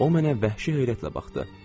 O mənə vəhşi heyrətlə baxdı.